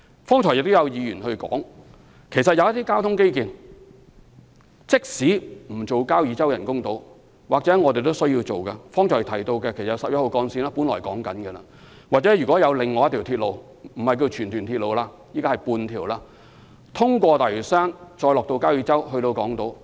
剛才亦有議員指出，即使不興建交椅洲人工島，我們也需要考慮興建一些交通基建，即剛才提到的十一號幹線或另一條鐵路——有說法是半條荃屯鐵路——途經大嶼山，再到交椅洲和港島。